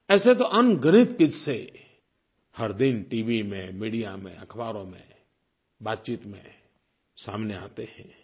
ऐसे तो अनगिनत किस्से हर दिन टीवी में मीडिया में अख़बारों में बातचीत में सामने आते हैं